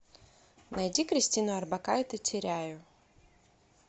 найди кристину орбакайте теряю